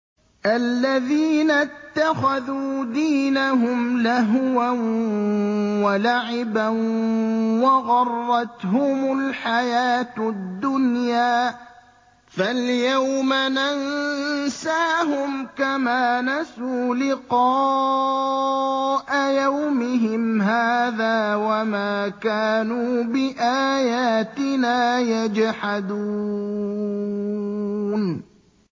الَّذِينَ اتَّخَذُوا دِينَهُمْ لَهْوًا وَلَعِبًا وَغَرَّتْهُمُ الْحَيَاةُ الدُّنْيَا ۚ فَالْيَوْمَ نَنسَاهُمْ كَمَا نَسُوا لِقَاءَ يَوْمِهِمْ هَٰذَا وَمَا كَانُوا بِآيَاتِنَا يَجْحَدُونَ